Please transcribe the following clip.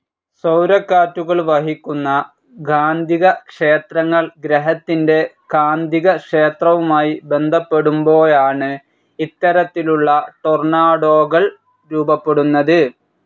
സൗരക്കാറ്റുകൾ വഹിക്കുന്ന കാന്തികക്ഷേത്രങ്ങൾ ഗ്രഹത്തിന്റെ കാന്തികക്ഷേത്രവുമായി ബന്ധപ്പെടുമ്പോഴാണ്‌ ഇത്തരത്തിലുള്ള ടൊർണാഡോകൾ രൂപപ്പെടുന്നത്.